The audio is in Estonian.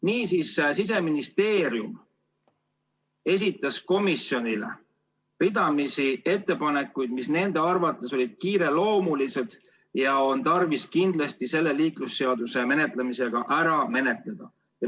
Nimelt, Siseministeerium esitas komisjonile ridamisi ettepanekuid, mis nende arvates olid kiireloomulised ja mis on kindlasti tarvis selle eelnõu menetlemise käigus vastu võtta.